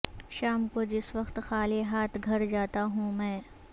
شام کو جس وقت خالی ہاتھ گھر جاتا ہوں میں